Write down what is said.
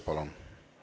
Palun!